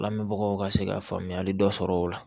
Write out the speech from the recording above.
Lamɛnbagaw ka se ka faamuyali dɔ sɔrɔ o la